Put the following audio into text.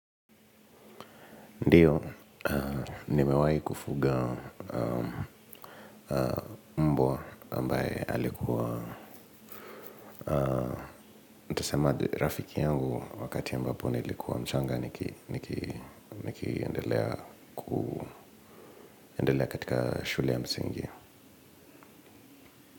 Ndiyo, nimewai kufuga mbwa ambaye alikuwa rafiki yangu wakati ambapo niilikuwa mchanga, nikiendelea katika shule ya msingi.